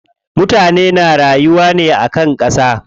Mutane na rayuwa ne akan ƙasa.